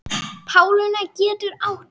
Patína getur átt við